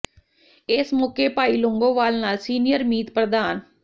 ਇਸ ਮੌਕੇ ਭਾਈ ਲੌਂਗੋਵਾਲ ਨਾਲ ਸੀਨੀਅਰ ਮੀਤ ਪ੍ਰਧਾਨ ਸ